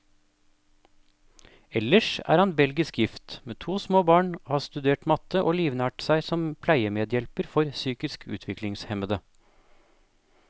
Ellers er han belgisk gift, med to små barn, har studert matte, og livnært seg som pleiemedhjelper for psykisk utviklingshemmede.